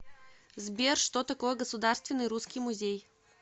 сбер что такое государственный русский музей